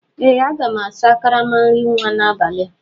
Ee aga m asa karama nri nwa n'abalị a